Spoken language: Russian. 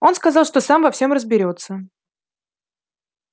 он сказал что сам во всем разберётся